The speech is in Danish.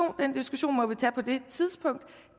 den diskussion må vi tage på det tidspunkt